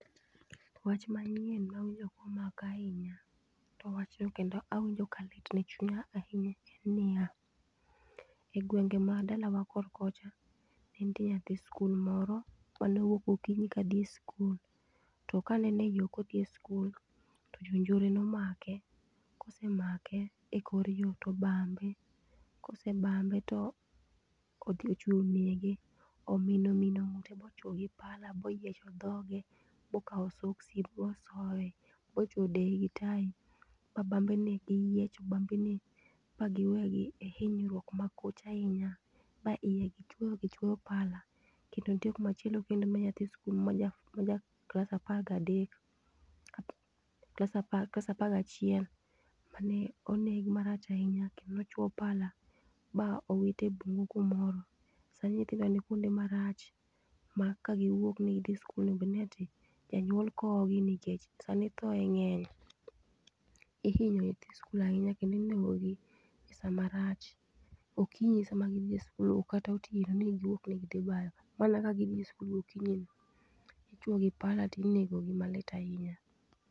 Wach manyien mawinjo komaka ahinya, to wachno kendo awinjo ka litna e chunya ahinya en niya, e gwenge ma dalawa kor kocha, nentie nyathi skul moro, manowuok gokinyi kadhi skul. To kane en e yoo kodhi e skul, to jonjore nomake, kosemake e kor yoo to obambe. Kose bambe to odhi ochwe onege, omino omino ng'ute bochuo gi pala boyiecho dhoge, bokaw soksi bo osoe, bochwe odeye gi tai, ba bambene giyiecho bambene, ba giweyo gi e hinyiruok makoch ahinya. Ba iye gichwoyo gichwoyo pala. Kendo nitie kumachielo kendo ma nyathi skul maja maja klas apagadek klas apa klas apaga achiel, mane oneg marach ahinya kendo ochuo pala ba owit e bungu kumoro. Sani nyithindo ni kwonde marach ma kagiwuok ni gidhi skul onego bedni ati, janyuol kowgi nikech sani thoe ng'eny ihinyo nyithi skul ahinya kendo inegogi e sama marach. Okinyi sama gidhie skul ok kata otieno ni giwuok ni gidhi bayo. Mana ka gidhi skul gokinyi. Ichuogi pala tinegogi malit ahinya